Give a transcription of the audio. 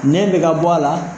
Nɛ bɛ ka bɔ a la.